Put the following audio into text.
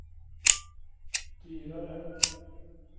dyrare